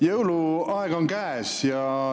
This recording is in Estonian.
Jõuluaeg on käes.